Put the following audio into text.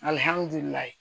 Alihamudulila